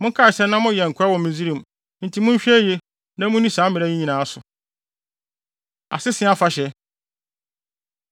Monkae sɛ na moyɛ nkoa wɔ Misraim enti monhwɛ yiye na munni saa mmara yi nyinaa so. Asese Afahyɛ